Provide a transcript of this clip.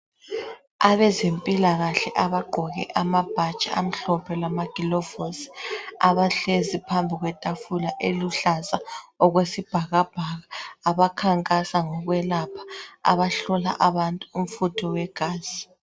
Abezempilakahle abagqoke amabhatshi amhlophe lamagilovosi, abahlezi phambi kwetafula eliluhlaza okwesibhakabhaka, abankankasa ngokwelapha, ngokuhlola abantu ubufutho begazi.